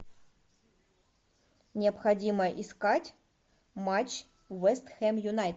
необходимо искать матч вест хэм юнайтед